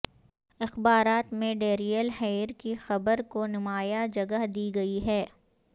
اخبارات میں Darrell Hair کی خبر کو نمایاں جگہ دی گئی ہے